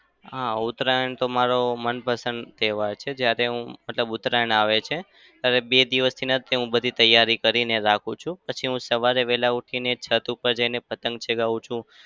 હા. ઉતરાયણ તો મારો મનપસંદ તહેવાર છે. જ્યારે હું મતલબ ઉતરાયણ આવે છે ત્યારે બે દિવસથી ને જ તે હું બધી તૈયારી કરીને રાખું છું. પછી હું સવારે વહેલા ઉઠીને છત પર જઇને પતંગ પણ ચગાવું છું.